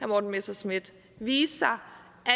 morten messerschmidt vise sig